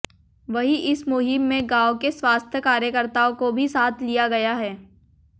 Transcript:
वहीं इस मुहिम में गांव के स्वास्थ्य कार्यकर्ताओं को भी साथ लिया गया है